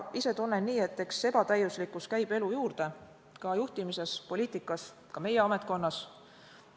Ise tunnen ka nii, et ebatäiuslikkus käib elu juurde, ka juhtimises, poliitikas, ka meie ametkonnas.